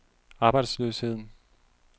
arbejdsløsheden